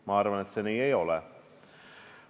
Ma arvan, et see nii ei ole.